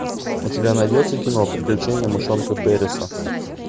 у тебя найдется кино приключения мышонка переса